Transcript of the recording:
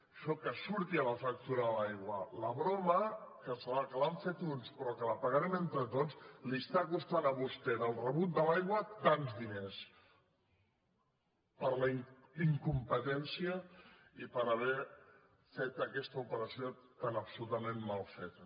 això que surti a la factura de l’aigua la broma que l’han fet uns però que la pagarem entre tots li està costant a vostè del rebut de l’aigua tants diners per la incompetència i per haver fet aquesta operació tan absolutament mal feta